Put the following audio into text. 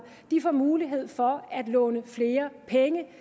får mulighed for at låne flere penge det